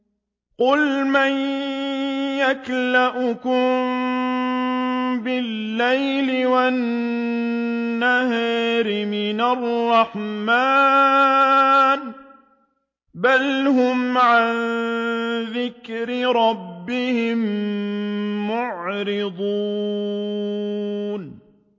قُلْ مَن يَكْلَؤُكُم بِاللَّيْلِ وَالنَّهَارِ مِنَ الرَّحْمَٰنِ ۗ بَلْ هُمْ عَن ذِكْرِ رَبِّهِم مُّعْرِضُونَ